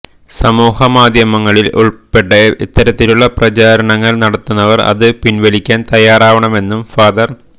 സമൂഹ മാധ്യമങ്ങളില് ഉള്പ്പടെ ഇത്തരത്തിലുള്ള പ്രചാരണങ്ങള് നടത്തുന്നവര് അത് പിന്വലിക്കാന് തയ്യാറാവണമെന്നും ഫാ